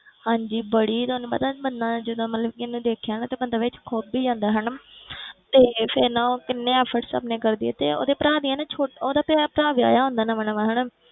ਹਾਂਜੀ ਬੜੀ ਤੁਹਾਨੂੰ ਪਤਾ ਬੰਦਾ ਜਦੋਂ ਮਤਲਬ ਕਿ ਇਹਨੇ ਦੇਖਿਆ ਨਾ ਤੇ ਬੰਦਾ ਵਿੱਚ ਖੁਭ ਹੀ ਜਾਂਦਾ ਹਨਾ ਤੇ ਫਿਰ ਨਾ ਉਹ ਕਿੰਨੇ efforts ਆਪਣੇ ਕਰਦੀ ਆ ਤੇ ਉਹਦੇ ਭਰਾ ਦੀਆਂ ਨਾ ਛੋ~ ਉਹਦਾ ਤੇ ਭਰਾ ਵਿਆਹਿਆ ਹੁੰਦਾ ਨਵਾਂ ਨਵਾਂ ਹਨਾ